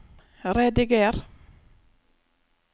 rediger